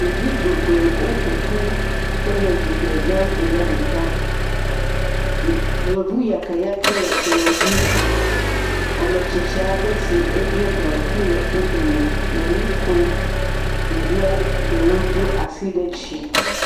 Ɖevi geɖe wo ƒoƒu, wole dzigbe zã ɖu na ɖeka, yevu yakɛyakɛ le kplɔ̃dzi. Ametsitsi aɖe si eɖiɔ gaŋkui le wo dome le nukom, ɖeviewo ɖewo do asi ɖe dzi.